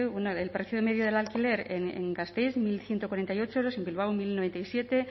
el precio medio del alquiler en gasteiz mil ciento cuarenta y ocho euros en bilbao mil noventa y siete